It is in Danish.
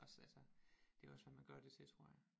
Også altså det er også hvad man gør det til tror jeg